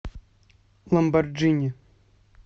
джой включи ламборджини